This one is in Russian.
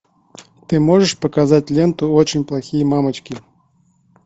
ты можешь показать ленту очень плохие мамочки